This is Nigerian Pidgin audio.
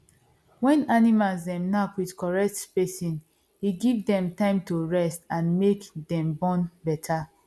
when animal dem knack with correct spacing e give dem time to rest and make dem born better